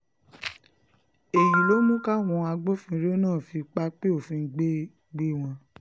èyí ló mú káwọn agbófinró náà fi pápẹ́ òfin gbé gbé wọn